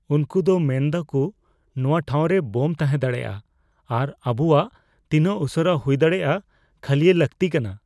ᱩᱝᱠᱩ ᱫᱚ ᱢᱮᱱᱮᱫᱟ ᱠᱩ ᱱᱚᱣᱟ ᱴᱷᱟᱸᱣ ᱨᱮ ᱵᱳᱢ ᱛᱟᱦᱮᱸ ᱫᱟᱲᱮᱭᱟᱜᱼᱟ ᱟᱨ ᱟᱵᱩᱣᱟᱜ ᱛᱤᱱᱟᱹᱜ ᱩᱥᱟᱹᱨᱟ ᱦᱩᱭ ᱫᱟᱲᱮᱭᱟᱜ ᱠᱷᱟᱹᱞᱤᱭ ᱞᱟᱹᱜᱛᱤ ᱠᱟᱱᱟ ᱾